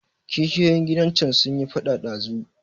Kishiyoyin gidan can sunyi faɗa ɗazu.